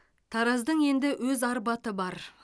тараздың енді өз арбаты бар